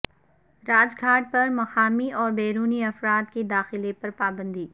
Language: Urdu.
راج گھاٹ پر مقامی اور بیرونی افراد کے داخلہ پر پابندی